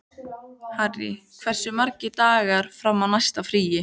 Harry, hversu margir dagar fram að næsta fríi?